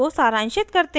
इसको सारांशित करते हैं